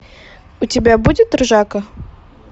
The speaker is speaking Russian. у тебя будет ржака